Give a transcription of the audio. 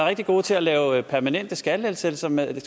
rigtig gode til at lave permanente skattelettelser men